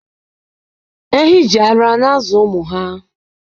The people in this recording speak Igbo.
Ehi jì ara na-azụ ụmụ ha.